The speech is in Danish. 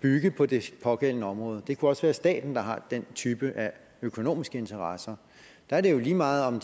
bygge på det pågældende område det kunne også være staten der har den type af økonomiske interesser der er det jo lige meget om